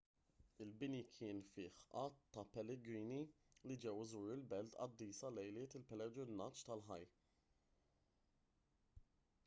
il-bini kien fih għadd ta' pellegrini li ġew iżuru l-belt qaddisa lejliet il-pellegrinaġġ ta' hajj